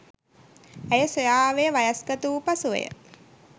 ඇය සොයා ආවේ වයස්ගත වූ පසුවය.